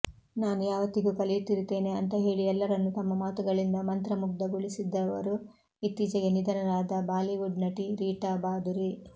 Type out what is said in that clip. ನಾನು ಯಾವತ್ತಿಗೂ ಕಲಿಯುತ್ತಿರುತ್ತೇನೆ ಅಂತ ಹೇಳಿ ಎಲ್ಲರನ್ನು ತಮ್ಮ ಮಾತುಗಳಿಂದ ಮಂತ್ರಮುಗ್ಧಗೊಳಿಸಿದ್ದವರು ಇತ್ತೀಚೆಗೆ ನಿಧನರಾದ ಬಾಲಿವುಡ್ ನಟಿ ರೀಟಾ ಬಾಧುರಿ